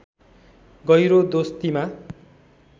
गहिरो दोस्तीमा